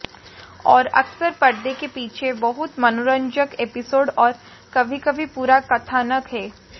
और अक्सर पर्दे के पीछे बहुत मनोरंजक एपिसोड और कभी कभी पूरा कथानक हैं